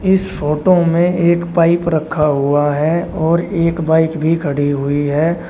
इस फोटो में एक पाइप रखा हुआ है और एक बाइक भी खड़ी हुई है।